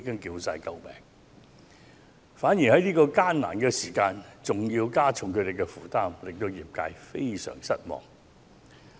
因此，如果政府在這個艱難的時候還要加重他們的負擔，會使業界相當失望。